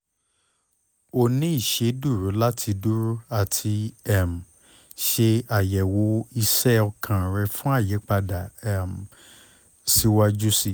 o ni iṣeduro lati duro ati um ṣe ayẹwo iṣẹ okan rẹ fun awọn ayipada um siwaju sii